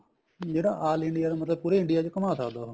ਜਿਹੜਾ all India ਮਤਲਬ ਪੂਰੇ India ਚ ਘੁੰਮਾ ਸਕਦਾ ਉਹ